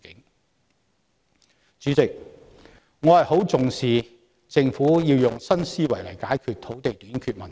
代理主席，我很重視政府要用新思維來解決土地短缺問題。